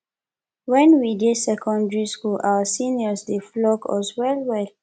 wen we dey secondary school our seniors dey flog us well well